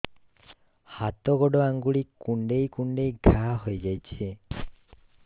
ହାତ ଗୋଡ଼ ଆଂଗୁଳି କୁଂଡେଇ କୁଂଡେଇ ଘାଆ ହୋଇଯାଉଛି